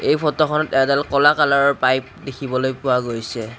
এই ফটোখনত এডাল কলা কালাৰৰ পাইপ দেখিবলৈ পোৱা গৈছে।